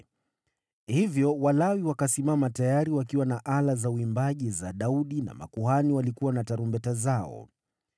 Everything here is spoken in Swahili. Hivyo Walawi wakasimama tayari wakiwa na ala za uimbaji za Daudi na makuhani walikuwa na tarumbeta zao.